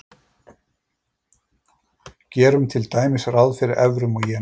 gerum til dæmis ráð fyrir evrum og jenum